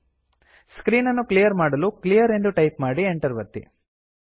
screen ಅನ್ನು clear ಮಾಡಲು clear ಎಂದು ಟೈಪ್ ಮಾಡಿ Enter ಒತ್ತಿ